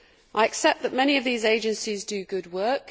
I accept that many of these agencies do good work.